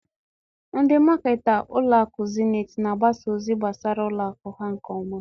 Ndị maketa ụlọakụ zenit na-agbasa ozi gbasara ụlọakụ ha nke ọma.